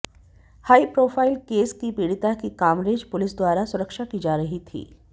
high profile case की पीडि़ता की कामरेज पुलिस द्वारा सुरक्षा की जा रही थी